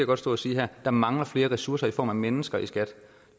godt stå og sige her der mangler flere ressourcer end i form af mennesker i skat